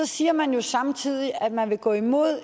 siger man jo samtidig at man vil gå imod